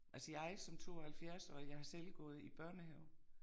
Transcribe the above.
Altså jeg som 72 årig jeg har selv gået i børnehave